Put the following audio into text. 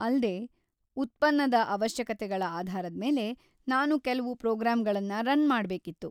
ಅಲ್ದೇ, ಉತ್ಪನ್ನದ ಅವಶ್ಯಕತೆಗಳ ಆಧಾರದ್ಮೇಲೆ ನಾನ್ ಕೆಲ್ವು ಪ್ರೋಗ್ರಾಮ್‌ಗಳ್ನ ರನ್‌ ಮಾಡ್ಬೇಕಿತ್ತು.